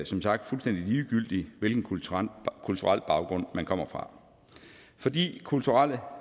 som sagt fuldstændig ligegyldigt hvilken kulturel kulturel baggrund man kommer fra fordi kulturelle